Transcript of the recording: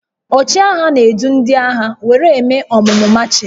Ọchịagha na-edu ndị agha were eme ọmụmụ machịn